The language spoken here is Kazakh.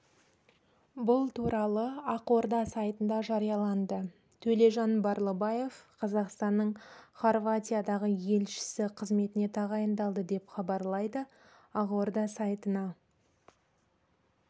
бұл туралы ақорда сайтында жарияланды төлежан барлыбаев қазақстанның хорватиядағы елшісі қызметіне тағайындалды деп хабарлайды ақорда сайтына